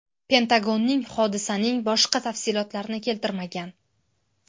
Pentagonning hodisaning boshqa tafsilotlarini keltirmagan.